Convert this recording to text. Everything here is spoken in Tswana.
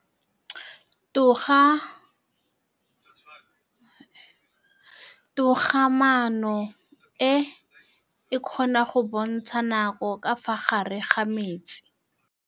Toga-maanô e, e kgona go bontsha nakô ka fa gare ga metsi.